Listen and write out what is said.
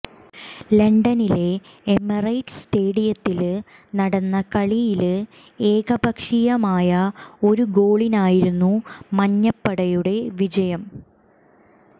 ലണ്ടനിലെ എമിറേറ്റ്സ് സ്റ്റേഡിയത്തില് നടന്ന കളിയില് ഏകപക്ഷീയമായ ഒരു ഗോളിനായിരുന്നു മഞ്ഞപ്പടയുടെ വിജയം